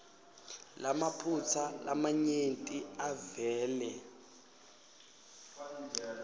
lamaphutsa lamanyenti avele